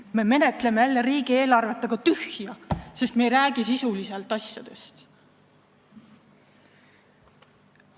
Me menetleme jälle riigieelarvet, aga tühja, sest me ei räägi asjadest sisuliselt.